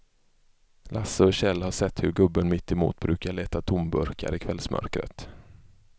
Lasse och Kjell har sett hur gubben mittemot brukar leta tomburkar i kvällsmörkret.